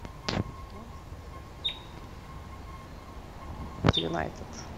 юнайтед